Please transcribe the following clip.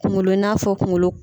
Kunkolo n'a fɔ kunkolo.